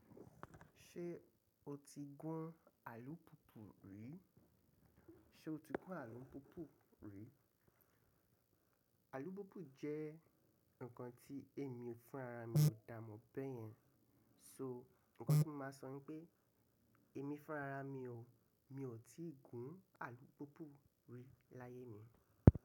Ṣé o ti gún alúpùpù rí? Sé o ti gún alúpùpù rí? Alúpùpù jẹ́ ǹkan tí èmi fúnra ra mi ò dáàmò báyẹn. So ǹkan tí màá sọ ni pé èmi fúnra ra mi o, mi ò tíì gún alúpùpù rí láyé mi.